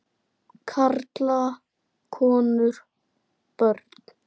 Karla, konur, börn.